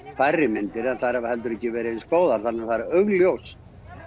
færri myndir en þær hafa ekki verið eins góðar þannig að það er augljóst